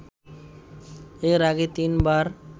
এর আগে তিনবার